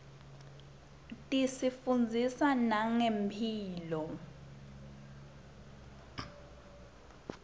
tisifundzisa nangemphilo